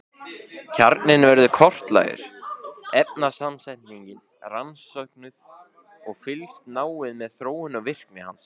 Kjarninn verður kortlagður, efnasamsetningin rannsökuð og fylgst náið með þróun og virkni hans.